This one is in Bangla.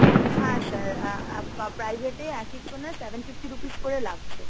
হ্যাঁ sir private এ এক একজনের seven fifty rupees করে লাগছে।